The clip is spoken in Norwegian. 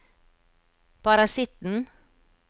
parasitten